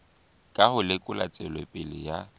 ka ho lekola tswelopele ya